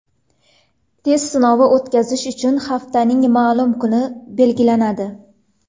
Test sinovi o‘tkazish uchun haftaning ma’lum kuni belgilanadi.